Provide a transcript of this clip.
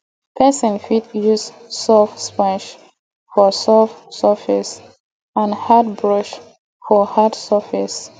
person fit use soft sponge for soft surface and hard brush for hard surface